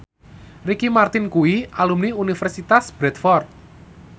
Ricky Martin kuwi alumni Universitas Bradford